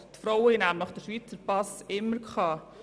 Die Frauen haben nämlich den Schweizer Pass immer gehabt.